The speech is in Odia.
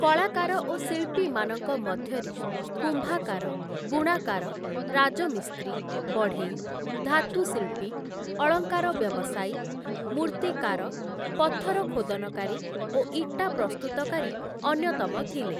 କଳାକାର ଓ ଶିଳ୍ପୀମାନଙ୍କ ମଧ୍ୟରେ କୁମ୍ଭାକାର, ବୁଣାକାର, ରାଜମିସ୍ତ୍ରୀ, ବଢ଼େଇ, ଧାତୁଶିଳ୍ପୀ, ଅଳଙ୍କାର ବ୍ୟବସାୟୀ, ମୃର୍ତ୍ତିକାର ପଥରଖୋଦନକାରୀ ଓ ଇଟା ପ୍ରସ୍ତୁତକାରୀ ଅନ୍ୟତମ ଥିଲେ ।